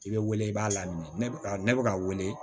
I bɛ wele i b'a lamini ne bɛ ka wele